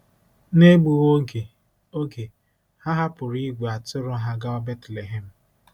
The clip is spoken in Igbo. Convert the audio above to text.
N’egbughị oge, oge, ha hapụrụ ìgwè atụrụ ha gawa Betlehem.